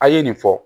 A' ye nin fɔ